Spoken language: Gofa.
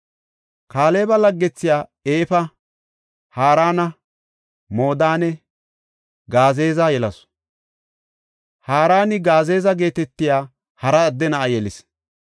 Kaaleba laggethiya Efa, Harana, Moodanne Gazeeza yelasu; Haraani Gazeeza geetetiya hara adde na7a yelis.